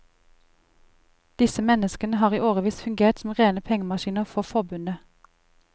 Disse menneskene har i årevis fungert som rene pengemaskiner for forbundet.